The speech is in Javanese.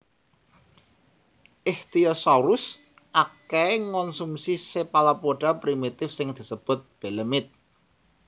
Ichthyosaurus akèhè ngonsumsi chephalopoda primitif sing disebut balemnitte